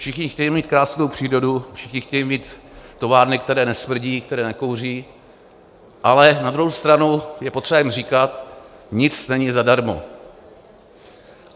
Všichni chtějí mít krásnou přírodu, všichni chtějí mít továrny, které nesmrdí, které nekouří, ale na druhou stranu je potřeba jim říkat: Nic není zadarmo.